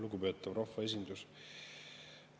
Lugupeetav rahvaesindus!